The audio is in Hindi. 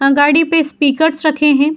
गाडी पे स्पीकर्स रखे हैं।